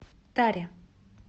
таре